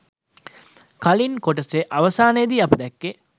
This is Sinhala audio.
කලින් කොටසෙ අවසානයෙදි අපි දැක්කේ